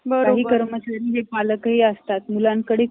काही कर्मचारी हे पालकही असतात . मुलांकडे